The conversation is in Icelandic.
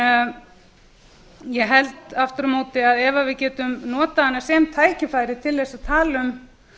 en ég held aftur á móti að ef við getum notað hana sem tækifæri til þess að tala um